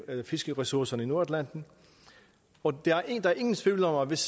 af fiskeressourcerne i nordatlanten og der er ingen tvivl om at hvis